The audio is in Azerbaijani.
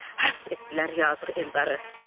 həbs etdilər yazıq Eldarı.